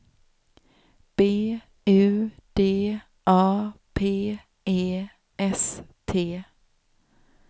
B U D A P E S T